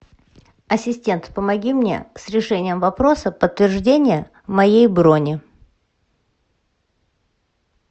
ассистент помоги мне с решением вопроса подтверждения моей брони